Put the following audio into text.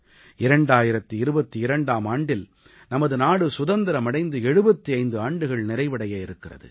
2022ஆம் ஆண்டில் நமது நாடு சுதந்திரம் அடைந்து 75 ஆண்டுகள் நிறைவடைய இருக்கிறது